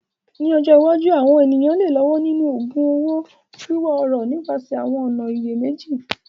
Ní ọjọ́ iwájú, àwọn ènìyàn lè lọ́wọ́ nínú ògun un owó, wíwá ọrọ̀ nípasẹ̀ àwọn ọ̀nà ìyèméjì.